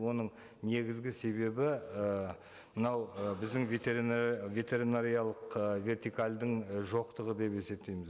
оның негізгі себебі ы мынау ы біздің ветеринариялық ы вертикальдің і жоқтығы деп есептейміз